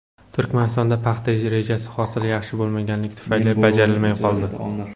Turkmanistonda paxta rejasi hosil yaxshi bo‘lmaganligi tufayli bajarilmay qoldi.